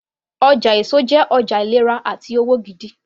Ọjà èso jẹ́ ọjà ìlera àti òwò gidi